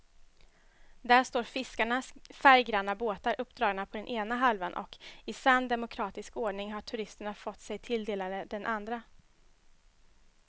Där står fiskarnas färggranna båtar uppdragna på ena halvan och i sann demokratisk ordning har turisterna fått sig tilldelade den andra.